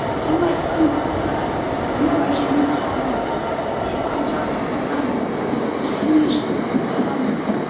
соны айтқан уақытта анау әженің қалы ы жалғыз бала келіні отырған